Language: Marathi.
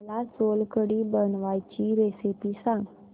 मला सोलकढी बनवायची रेसिपी सांग